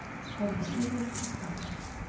Horfði niður í skálina.